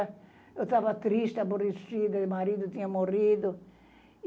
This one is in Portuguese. Eu estava triste, aborrecida, meu marido tinha morrido.